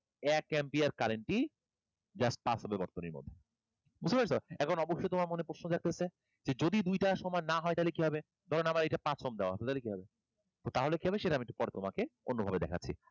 এক ampere current ই just pass হবে বর্তনীর মধ্যে, এখন অবশ্যই তোমার মনে প্রশ্নও জাগতাসে যে যদি দুইটা সমান না হয় তাহলে কি হবে? ধরেন আমার এইটা পাঁচ Ohm দেওয়া আছে তাহলে কি হবে? তো তাহলে কি হবে সেটা একটু পরে আমি তোমাকে অন্যভাবে দেখাচ্ছি।